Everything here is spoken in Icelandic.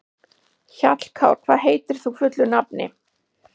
Hjallkár, hvað heitir þú fullu nafni?